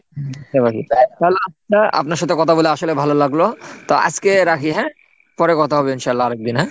আচ্ছা আচ্ছা আপনার সাথে কথা বলে আসলে ভালো লাগলো তো আজকে রাখি হ্যাঁ? পরে কথা হবে ইনশাল্লাহ আরেক দিন হ্যাঁ?